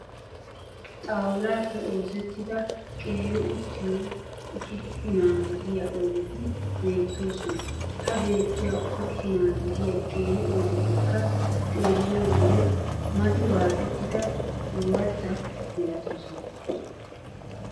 Xawulaappe oosettida qeeri uttiyo usuppunaa gidiya oydeti beettoosona. Ha beettiya usuppunaa gidiya qeeri oydettikka xeelliyo wode mati waaxettida ooratta milatoosona.